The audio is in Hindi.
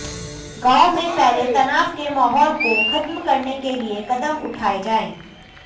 गांव में फैले तनाव के माहौल को खत्म करने के लिए कदम उठाएं जाए